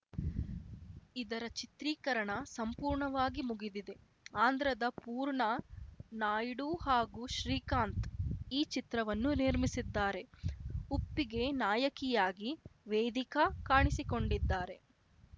ಇದರ ಚಿತ್ರೀಕರಣ ಸಂಪೂರ್ಣವಾಗಿ ಮುಗಿದಿದೆ ಆಂಧ್ರದ ಪೂರ್ಣ ನಾಯ್ಡು ಹಾಗೂ ಶ್ರೀಕಾಂತ್‌ ಈ ಚಿತ್ರವನ್ನು ನಿರ್ಮಿಸಿದ್ದಾರೆ ಉಪ್ಪಿಗೆ ನಾಯಕಿಯಾಗಿ ವೇದಿಕಾ ಕಾಣಿಸಿಕೊಂಡಿದ್ದಾರೆ